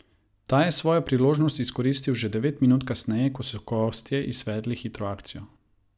Ta je svojo priložnost izkoristil že devet minut kasneje, ko so gostje izvedli hitro akcijo.